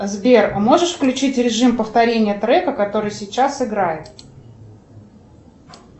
сбер а можешь включить режим повторения трека который сейчас играет